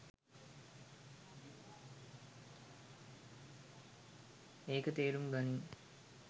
ඒක තේරුම් ගනින්